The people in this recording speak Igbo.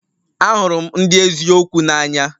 Ahụrụ m ndị eziokwu n'anya